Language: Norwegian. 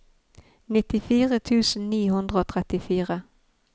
nittifire tusen ni hundre og trettifire